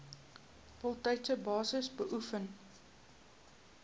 voltydse basis beoefen